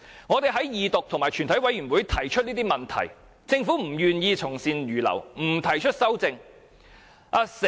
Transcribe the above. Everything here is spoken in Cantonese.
我們在二讀及全體委員會階段提出這些問題，政府不願意從善如流，不提出修正案。